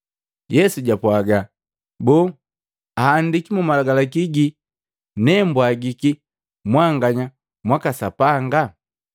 Yesu japwaaga, “Boo, ahandiki mu Malagalaki gii, ‘Nee mbwagiki mwanganya mwaka sapanga.’